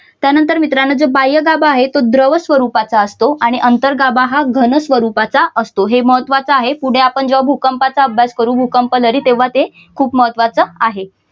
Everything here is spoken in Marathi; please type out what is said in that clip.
त्यानंतर मित्रांनो जे बाह्यगाभा आहे तो द्रव स्वरूपाचा असतो आणि अंतर्गाभा हा घन स्वरूपाचा असतो हे महत्त्वाच आहे पुढे आपण जेव्हा भूकंपाचा अभ्यास करू भूकंपदरी तेव्हा ते खूप महत्त्वाच आहे.